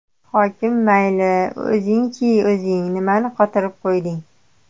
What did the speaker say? Hokim mayli, o‘zingchi o‘zing, nimani qotirib qo‘yding?